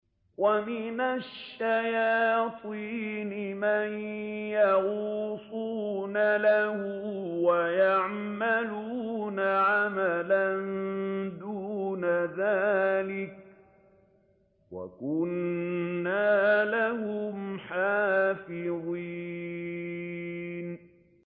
وَمِنَ الشَّيَاطِينِ مَن يَغُوصُونَ لَهُ وَيَعْمَلُونَ عَمَلًا دُونَ ذَٰلِكَ ۖ وَكُنَّا لَهُمْ حَافِظِينَ